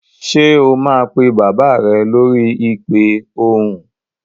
Ṣé o máa pe bàbá rẹ lórí ìpè ohùn?